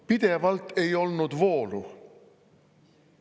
Pidevalt ei olnud vooru!